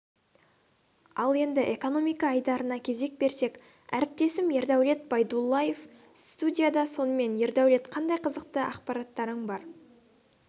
ал енді экономика айдарына кезек берсек әріптесім ердәулет байдуллаев студияда сонымен ердәулет қандай қызықты ақпараттарың бар